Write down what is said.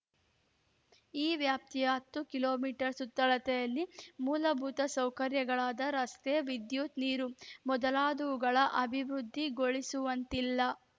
ಈ ವ್ಯಾಪ್ತಿಯ ಹತ್ತು ಕಿಲೋ ಮೀಟರ್ ಸುತ್ತಳತೆಯಲ್ಲಿ ಮೂಲಭೂತ ಸೌಕರ್ಯಗಳಾದ ರಸ್ತೆ ವಿದ್ಯುತ್‌ ನೀರು ಮೊದಲಾದವುಗಳ ಅಭಿವೃದ್ಧಿಗೊಳಿಸುವಂತಿಲ್ಲ